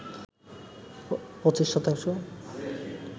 ২৫ শতাংশ